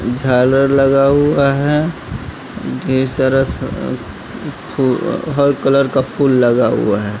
झालर लगा हुआ है ढेर सारा हर कलर का फूल लगा हुआ है।